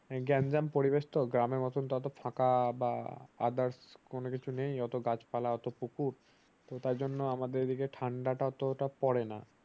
গ্যান্জাম পরিবেশ টা গ্রামের মতন এতো টাও তো ফাঁকা বা others কোন কিছু নেই অটো গাছ পালা এত পুকুর তো তার জন্য ঠান্ডা তা আমাদের দিকে অতটা পরে না ।